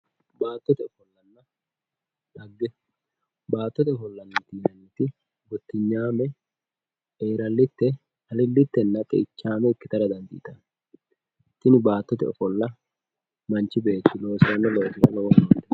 baattote ofollanna xagge baattote ofollanna xagge yinanniti gottinyaame, eelallitte, alilittenna xeichaame ikkitara dandiitanno tini baattote ofolla manchi beetti loosanno loosira lowo horo noosi.